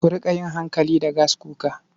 Ku riƙa yin hankali da gaskuka.